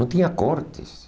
Não tinha cortes.